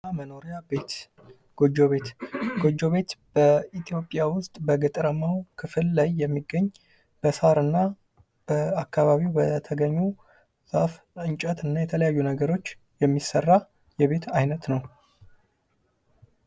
መኖሪያ ቤት ጎጆ ቤት:- ጎጆ ቤት በኢትዮጵያ ዉስጥ በገጠራማዉ ክፍል ላይ የሚገኝ በሳርና በአካባቢዉ በተገኙ ዛፍ እንጨት እና የተለያዩ ነገሮች የሚሰራ የቤት አይነት ነዉ።